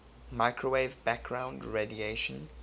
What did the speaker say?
microwave background radiation